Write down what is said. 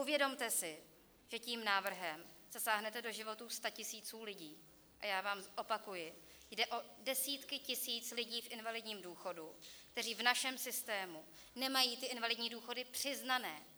Uvědomte si, že tím návrhem zasáhnete do životů statisíců lidí, a já vám opakuji, jde o desítky tisíc lidí v invalidním důchodu, kteří v našem systému nemají ty invalidní důchody přiznané.